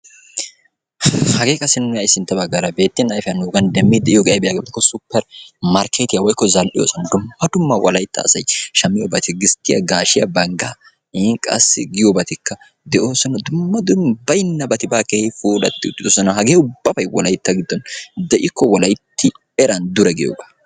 Hagee qassi nuuni ha'i sintta baggaara beettin ayifiyan nuugan demmiiddi de'iyobay ayibee yaagiyaba gidikko supper markkeetiya woyikko zal'iyosan dumma dumma wolayitta asay shammiyoba gisttiya gaashiya banggaa in qassi giyobatikka de'oosona. Dumma dumma bayinnabati baa keehi puulatti uttidosona. Hagee ubbabay wolayitta giddon de'ikko wolayitti eran dure giyogaa.